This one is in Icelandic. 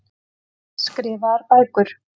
Skrifaðar bækur.